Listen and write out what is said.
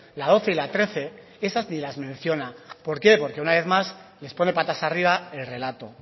la doce y la trece esas ni las menciona por qué porque una vez más les pone patas arriba el relato